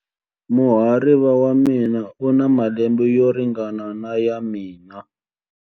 Muhariva wa mina u na malembe yo ringana na ya mina.